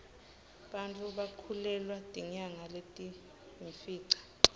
bantfu bakhulelwa tinyanga letiyimfica